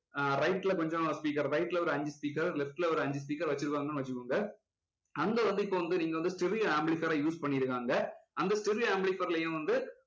ஆஹ் right ல கொஞ்சம் speaker right ல ஒரு அஞ்சு left ல ஒரு அஞ்சு speaker வச்சிருக்காங்கன்னு வச்சுக்கோங்க அங்க வந்து இப்போ வந்து நீங்க வந்து stereo amplifier use பண்ணிருக்காங்க அந்த stereo amplifier லயும் வந்து